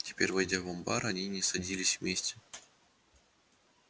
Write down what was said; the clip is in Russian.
теперь войдя в амбар они не садились вместе